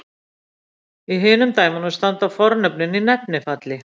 Í hinum dæmunum standa fornöfnin í nefnifalli.